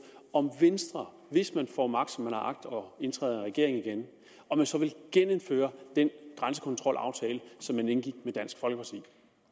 om venstre hvis man får magt som man har agt og indtræder i regeringen igen så vil genindføre den grænsekontrolaftale som man indgik med dansk folkeparti